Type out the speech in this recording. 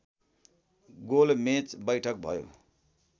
गोलमेच वैठक भयो